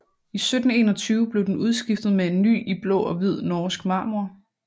I 1721 blev den udskiftet med en ny i blå og hvid norsk marmor